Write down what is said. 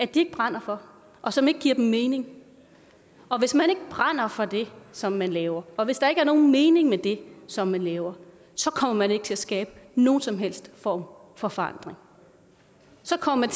de ikke brænder for og som ikke giver dem mening og hvis man ikke brænder for det som man laver og hvis der ikke er nogen mening med det som man laver så kommer man ikke til at skabe nogen som helst form for forandring så kommer